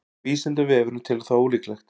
vísindavefurinn telur það ólíklegt